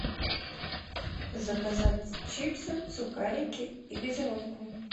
заказать чипсы сухарики и газировку